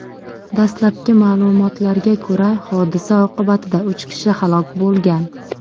Dastlabki ma’lumotlarga ko‘ra, hodisa oqibatida uch kishi halok bo‘lgan.